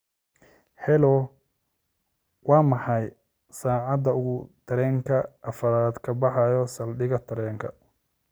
hello waa maxay saacada uu tareenka afraad ka baxaa saldhiga tareenka